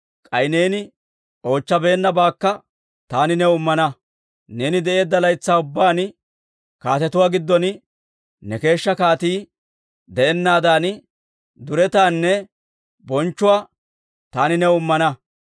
K'ay neeni oochchabeennabaakka taani new immana; neeni de'eedda laytsaa ubbaan kaatetuwaa giddon ne keeshshaa kaatii de'ennaadan, duretaanne bonchchuwaa taani new immana.